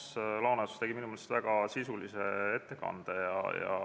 Ants Laaneots tegi minu meelest väga sisulise ettekande.